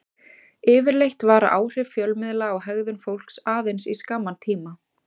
Yfirleitt vara áhrif fjölmiðla á hegðun fólks aðeins í skamman tíma.